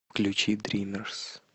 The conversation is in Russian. включи дримерс